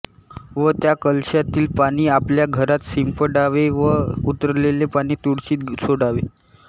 व त्या कलशातील पाणी आपल्या घरात शिंपडावे व उरलेले पाणी तुळशीत सोडावे